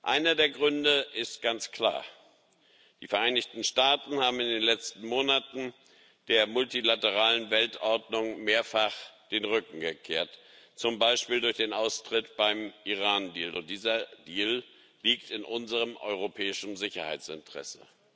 Einer der Gründe ist ganz klar Die Vereinigten Staaten haben in den letzten Monaten der multilateralen Weltordnung mehrfach den Rücken gekehrt, zum Beispiel durch den Austritt beim Iran Deal. Dieser Deal liegt in unserem europäischen Sicherheitsinteresse.